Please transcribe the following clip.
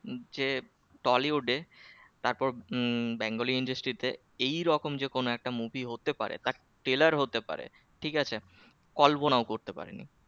যে tollywood এ তারপর উহ bengali industry তে এই রকম যে কোন একটা movie হতে পারে trailer হতে পারে ঠিক আছে কল্পনাও করতে পারে নি